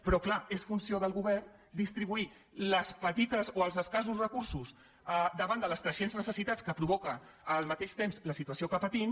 però és clar és funció del govern distribuir els escassos recursos davant de les creixents necessitats que provoca al mateix temps la situació que patim